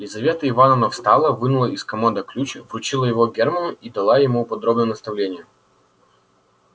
лизавета ивановна встала вынула из комода ключ вручила его германну и дала ему подробное наставление